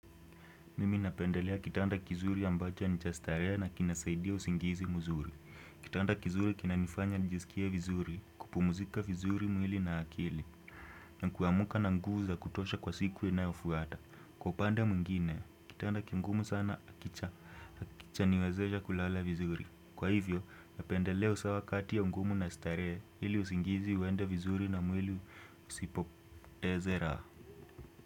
Mimi napendelea kitanda kizuri ambacha ni chastaree na kinasaidia usingizi mzuri. Kitanda kizuri kinanifanya nijisikie vizuri kupumuzika vizuri mwili na akili. Na kuamuka na nguvu za kutosha kwa siku inayofuata. Kwa upande mwingine, kitanda kingumu sana kicha kicha niwezesha kulala vizuri. Kwa hivyo, napendelea usawa kati ya bgumu na staree ili usingizi uende vizuri na mwili usipoteze raha.